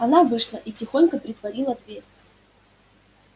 она вышла и тихонько притворила дверь